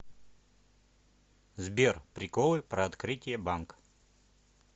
сбер приколы про открытие банк